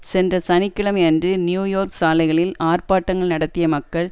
சென்ற சனி கிழமை அன்று நியூயோர்க் சாலைகளில் ஆர்பாட்டங்கள் நடத்திய மக்கள்